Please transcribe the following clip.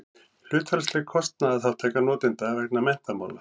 hlutfallsleg kostnaðarþátttaka notenda vegna menntamála